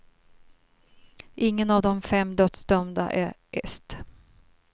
Ingen av de fem dödsdömda är est.